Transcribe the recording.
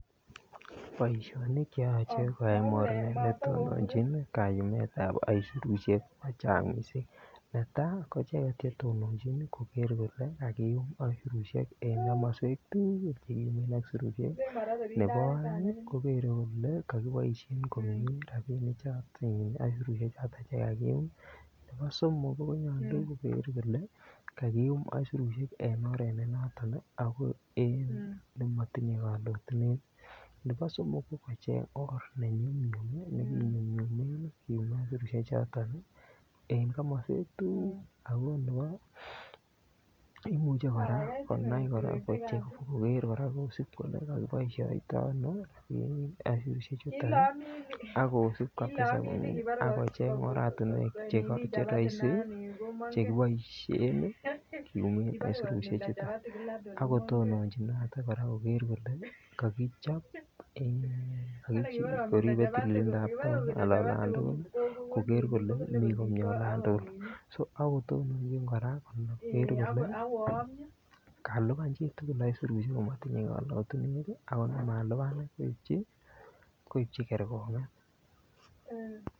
Boisinik Che yoche ko tononjin kayu ab aisurusiek ko chang mising netai ko tononjin koger kole kaiyum aisurusiek en komoswek tugul nebo aeng kogere kole ko ko kiboisien komie rabinichato aisurusiek choton Che kagiyum nebo somok konyolu koger kole kagiyum aisurusiek choton ago en ne motinye kalotunet nebo ko kocheng or ne nyum nyum nekinemunen aisurusiek en komoswek tugul ago nebo kimuche kora kochob kora kosub koger kole kakiboisien rabisiek choton ak kosub oratinwek Che roisi Che kiboisien kisub en aisurusiek chuton ak kotononjinoto kora koger kole kakichob en or age tugul koger kole mi komie olan tugul ak ko tononjin kora kalipan chitugul aisurusiek komotinye kalotunet akot non malipan koipchi kergongiet